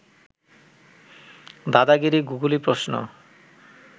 দাদাগিরি googly প্রশ্ন